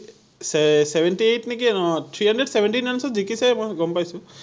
চে seventy eight নিকি! অ’ three hundred seventeen runs ত জিকিছেই, মই গম পাইছো৷